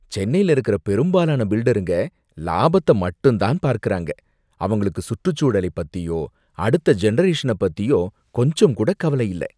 சென்னையில இருக்கிற பெரும்பாலான பில்டருங்க லாபத்த மட்டும் தான் பார்க்கறாங்க, அவங்களுக்கு சுற்றுச்சூழலைப் பத்தியோ அடுத்த ஜெனரேஷன பத்தியோ கொஞ்சம் கூட கவல இல்ல.